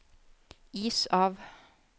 is av